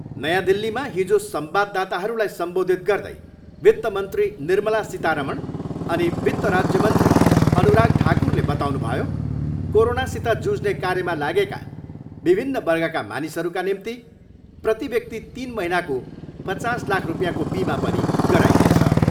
नयाँ दिल्लीमा हिजो संवाददाताहरूलाई सम्बोधित गर्दै वित्त मन्त्री निर्मला सीतारमण अनि वित्त राज्यमन्त्री अनुराग ठाकुरले बताउनुभयो, कोरोनासित जुझ्ने कार्यमा लागेका विभिन्न वर्गका मानिसहरूका निम्ति प्रति व्यक्ति तिन महिनाको पचास लाख रुपियाँको बिमा पनि गराइनेछ।